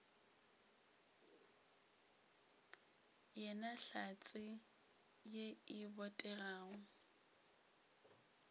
yena hlatse ye e botegago